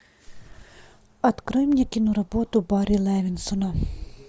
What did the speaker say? открой мне киноработу барри левинсона